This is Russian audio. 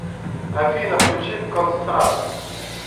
афина включи констракт